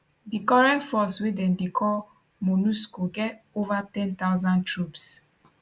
di current force wey dem dey call monusco get ova 10000 troops